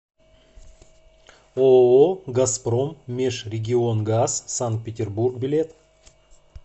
ооо газпром межрегионгаз санкт петербург билет